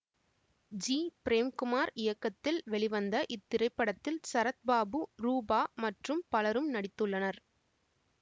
G Premkumar இயக்கத்தில் வெளிவந்த இத்திரைப்படத்தில் சரத் பாபு ரூபா மற்றும் பலரும் நடித்துள்ளனர்